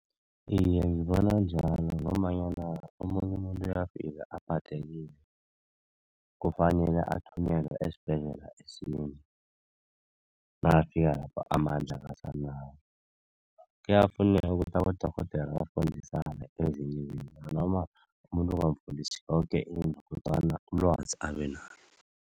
Iye, ngibona njalo ngombanyana omunye umuntu bayafika aphathekile kufanele ethunyelwe esibhedlela nakafika lapho amandla akasenawo. Kuyafuneka ukuthi abodorhodere bafundisana ezinye izinto noma umuntu ungamfundisi yoke into kodwana ilwazi abenalo.